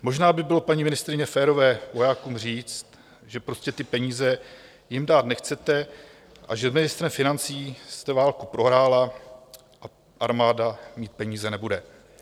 Možná by bylo, paní ministryně, férové vojákům říct, že prostě ty peníze jim dát nechcete a že s ministrem financí jste válku prohrála a armáda mít peníze nebude.